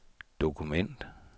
dokument